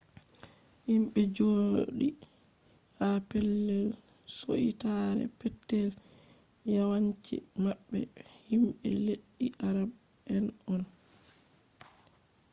himɓe jooɗi ha pellel suitaare petel yawanci maɓɓe himɓe leddi arab en on